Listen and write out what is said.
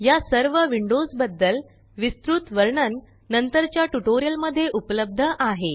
या सर्व विन्डोस बद्दल विस्तृत वर्णन नंतरच्या ट्यूटोरियल मध्ये उपलब्ध आहे